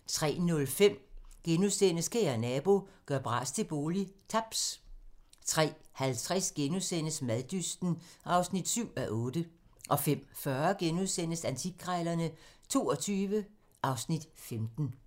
03:05: Kære nabo - gør bras til bolig - Taps * 03:50: Maddysten (7:8)* 05:40: Antikkrejlerne XXII (Afs. 15)*